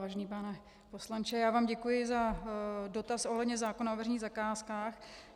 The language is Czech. Vážený pane poslanče, já vám děkuji za dotaz ohledně zákona o veřejných zakázkách.